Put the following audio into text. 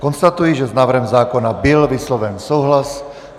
Konstatuji, že s návrhem zákona byl vysloven souhlas.